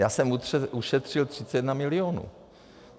Já jsem ušetřil 31 milionů.